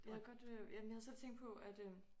Hvad gør det jamen jeg havde selv tænkt på at